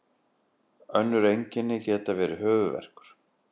önnur einkenni geta verið höfuðverkur